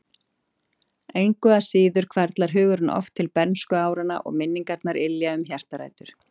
Engu að síður hvarflar hugurinn oft til bernskuáranna og minningarnar ylja um hjartarætur.